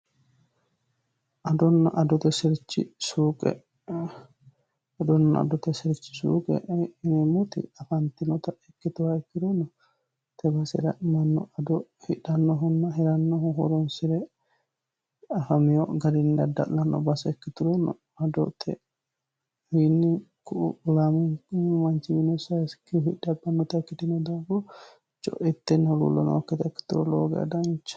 adonna adote sirchi suuqe ineemmoti afaantinota ikkituwa ikkironno tebasi hi'ra'manno ado hidhannohunna hirannoho horoonsi're afamiyo gadinni adda'lanno baase ikkitulono adotewiinni kulaaminko mancimine saisikihu hidhabbannota ikkitino danfo co'itteni huluullo nookkita ikkituro looga dancha